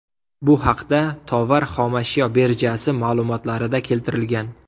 Bu haqda Tovar xomashyo birjasi ma’lumotlarida keltirilgan .